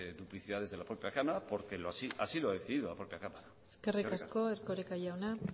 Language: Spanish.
de duplicidades de la propia cámara porque así lo ha decidido la propia cámara eskerrik asko eskerrik asko erkoreka jauna